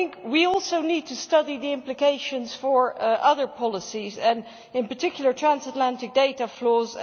We also need to study the implications for other policies and, in particular, transatlantic data flows.